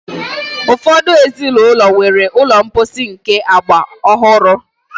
Ụfọdụ ezinụlọ nwere ụlọ mposi nke agba ọhụrụ.